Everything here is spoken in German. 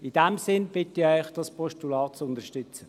In diesem Sinn bitte ich Sie, das Postulat zu unterstützen.